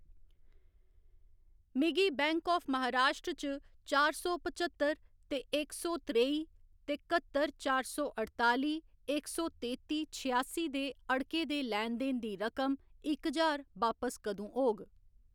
मिगी bank of Maharashtra च चार सौ पचह्तर ते इक सौ त्रेई ते कत्तर चार सौ अड़ताली इक सौ तेती छेआसी दे अड़के दे लैन देन दी रकम इक ज्हार बापस कदूं होग?